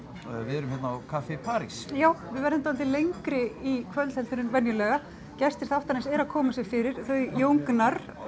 við erum hérna á Café París já við verðum dálítið lengri í kvöld heldur en venjulega gestir þáttarins eru að koma sér fyrir þau Jón Gnarr